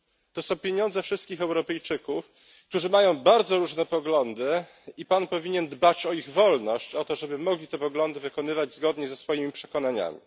To są pieniądze wszystkich Europejczyków, którzy mają bardzo różne poglądy, i Pan powinien dbać o ich wolność, o to, żeby mogli te poglądy wykonywać zgodnie ze swoimi przekonaniami.